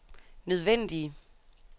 nødvendige